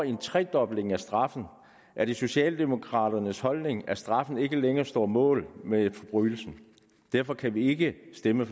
en tredobling af straffen er det socialdemokraternes holdning at straffen ikke længere står mål med forbrydelsen derfor kan vi ikke stemme